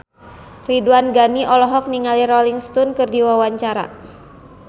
Ridwan Ghani olohok ningali Rolling Stone keur diwawancara